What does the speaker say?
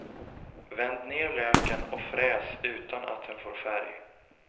Vänd ner löken och fräs utan att den får färg.